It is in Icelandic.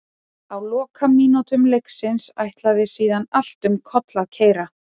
Á lokamínútum leiksins ætlaði síðan allt um koll að keyra.